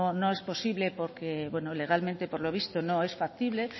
no es posible porque legalmente por lo visto no es factible